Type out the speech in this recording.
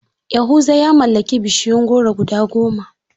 Yahuza ya mallaki bishiyun goro guda goma.